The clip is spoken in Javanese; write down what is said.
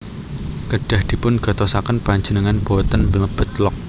Kedah dipun gatosaken Panjenengan boten mlebet log